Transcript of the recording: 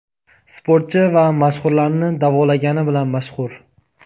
sportchi va mashhurlarni davolagani bilan mashhur.